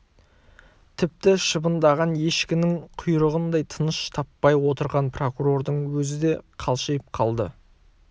тіпті шыбындаған ешкінің құйрығындай тыныш таппай отырған прокурордың өзі де қалшиып қалды